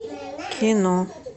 кино